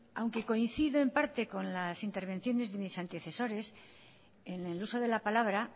aunque coincida en parte con las intervenciones de mis antecesores en el uso de la palabra